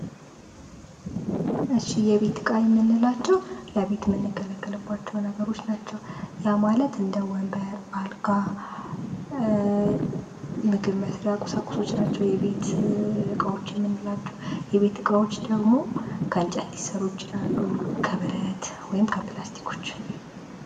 እሺ የቤት እቃ የምንላቸው ለቤት የምንገለገልባቸው ነገሮች ናቸው ። ያ ማለት እንደ ወንበር ፣ አልጋ ፣ ምግብ መስሪያ ቁሳቁሶች ናቸው የቤት እቃዎች የምንላቸው ። የቤት እቃዎች ደግሞ ከእንጨት ሊሰሩ ይችላሉ ፣ ከብረት ወይም ከፕላስቲኮች